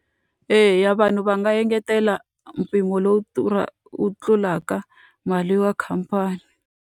Eya vanhu va nga engetela mpimo lowu wu tlulaka mali ya khampani.